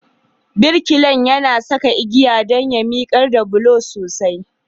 Birkilan yana saka igiya don ya miƙar da bulon sosai.